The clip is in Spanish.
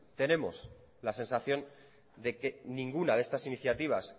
tenemos la sensación de que ninguna de estas iniciativas